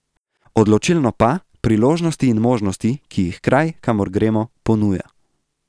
Odločilno pa, priložnosti in možnosti, ki jih kraj, kamor gremo, ponuja.